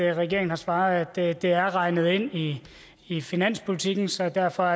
regeringen har svaret at det er regnet ind i i finanspolitikken så derfor